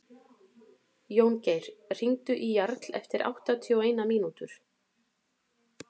Jóngeir, hringdu í Jarl eftir áttatíu og eina mínútur.